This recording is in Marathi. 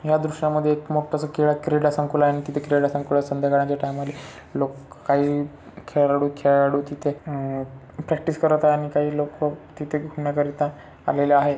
या दृश्यामध्ये मोठसा क्रीडा संकुलन आणि क्रीडा संकुलन संध्याकाळच्या टाइमाले लोक काही खेलाडू खेलाडू अम प्रॅक्टिस करत आहे अन काही लोक तिथे फिरण्या करीता आलेले आहेत.